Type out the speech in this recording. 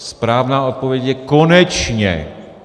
Správná odpověď je: konečně!